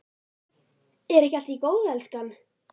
Er ekki allt í góðu lagi, elskan?